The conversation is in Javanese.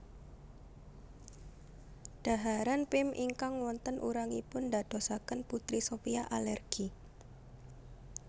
Dhaharan Pim ingkang wonten urangipun ndadosaken Putri Sophia alergi